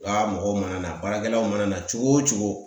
Wa mɔgɔw mana na baarakɛlaw mana cogo o cogo.